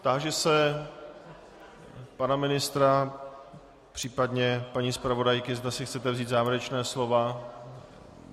Táži se pana ministra, případně paní zpravodajky, zda si chcete vzít závěrečná slova.